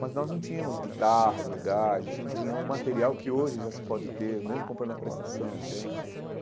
Mas nós não tínhamos guitarras legais, a gente não tinha um material que hoje já se pode ter, mesmo comprando a prestação, entende?